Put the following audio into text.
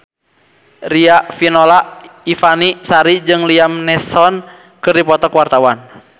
Riafinola Ifani Sari jeung Liam Neeson keur dipoto ku wartawan